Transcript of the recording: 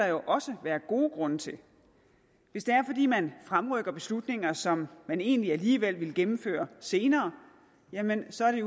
jo også være gode grunde til hvis det er fordi man fremrykker beslutninger som man egentlig alligevel ville gennemføre senere jamen så er det